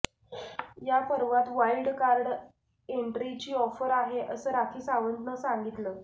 या पर्वात wild card एन्ट्रीची ऑफर आहे असं राखी सावंतनं सांगितलं